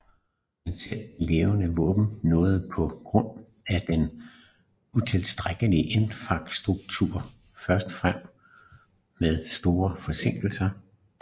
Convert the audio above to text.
Men selv de leverede våben nåede på grund af den utilstrækkelige infrastruktur først frem med store forsinkelser